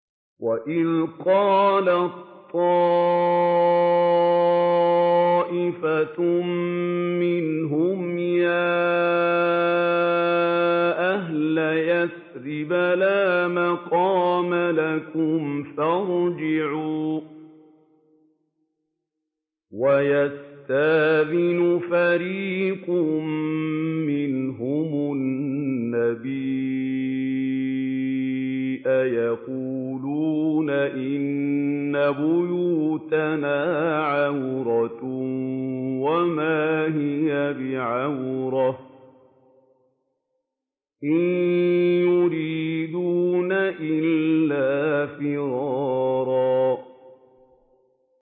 وَإِذْ قَالَت طَّائِفَةٌ مِّنْهُمْ يَا أَهْلَ يَثْرِبَ لَا مُقَامَ لَكُمْ فَارْجِعُوا ۚ وَيَسْتَأْذِنُ فَرِيقٌ مِّنْهُمُ النَّبِيَّ يَقُولُونَ إِنَّ بُيُوتَنَا عَوْرَةٌ وَمَا هِيَ بِعَوْرَةٍ ۖ إِن يُرِيدُونَ إِلَّا فِرَارًا